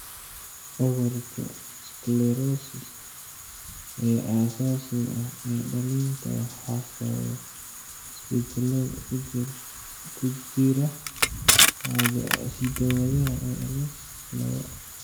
Cudurka 'sclerosis' ee aasaasiga ah ee dhallinta waxaa sababa isbeddellada ku jira hidda-wadaha ALS lawoo.